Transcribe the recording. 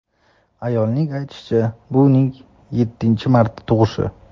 Ayolning aytishicha, bu uning yettinchi marta tug‘ishi.